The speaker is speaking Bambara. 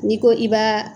N'i ko i b'a